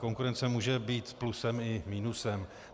Konkurence může být plusem i minusem.